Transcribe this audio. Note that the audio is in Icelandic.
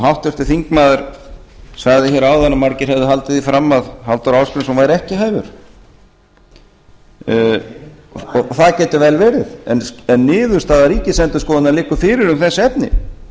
háttvirtur þingmaður sagði hér áðan að margir hefðu haldið því fram að halldór ásgrímsson væri ekki hæfur og það getur vel verið en niðurstaða ríkisendurskoðunar liggur fyrir um þessi efni